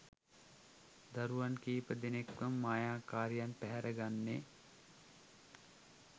දරුවන් කිහිපදෙනෙක්වම මායාකාරියන් පැහැර ගන්නේ?